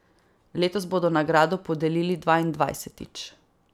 Letos bodo nagrado podelili dvaindvajsetič.